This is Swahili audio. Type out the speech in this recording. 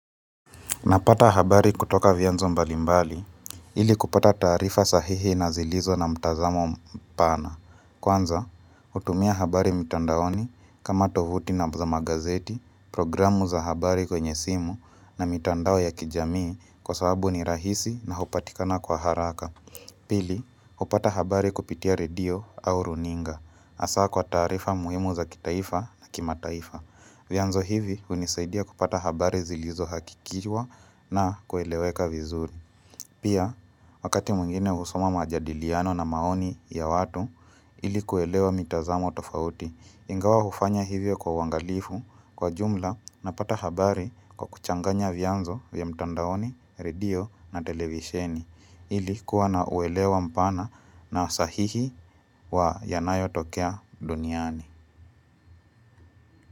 Napata habari kutoka vianzo mbalimbali ili kupata taarifa sahihi na zilizo na mtazamo mpana. Kwanza, hutumia habari mitandaoni kama tovuti na za magazeti, programu za habari kwenye simu na mitandao ya kijamii kwa sababu ni rahisi na hupatikana kwa haraka. Pili, upata habari kupitia redio au runinga asaa kwa tarifa muhimu za kitaifa na kimataifa. Vyanzo hivi hunisaidia kupata habari zilizohakikishwa na kueleweka vizuri. Pia, wakati mwingine husoma majadiliano na maoni ya watu ili kuelewa mitazamo tofauti, ingawa ufanya hivyo kwa uangalifu kwa jumla napata habari kwa kuchanganya vyanzo vya mtandaoni, redio na televisheni, ili kuwa na uelewa mpana na sahihi wa yanayo tokea duniani.